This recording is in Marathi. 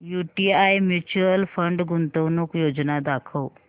यूटीआय म्यूचुअल फंड गुंतवणूक योजना दाखव